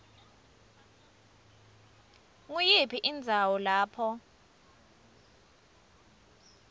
nguyiphi indzawo lapho